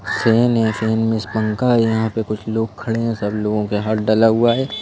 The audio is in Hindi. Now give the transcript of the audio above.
सेन है सेन मींस पंखा है यहाँ पे कुछ लोग खड़े हैं सब लोगों के हाथ डला हुआ है।